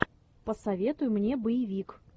посоветуй мне боевик